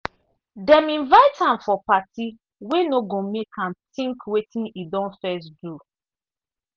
dem invite am for party wey no go make am think wetin e don first do.